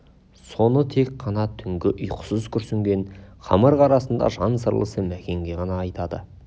соны тек қана түнгі ұйқысыз күрсінген қамырық арасында жан сырласы мәкенге ғана айтады